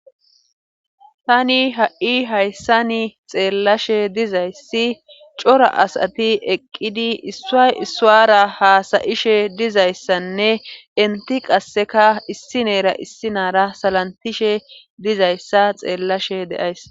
tani ha7i hayssani xeellashe dizayssi cora asati eqqidi issoy issuwara haasayishe dizayssanne inti qasseka issineera issinaara salantishe dizayssa xeellashe deays